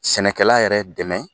Sɛnɛkɛla yɛrɛ dɛmɛ